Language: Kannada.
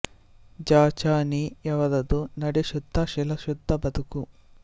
ಜ ಚ ನಿ ಯವರದು ನಡೆ ಶುದ್ಧ ಶೀಲಶುದ್ಧ ಬದುಕು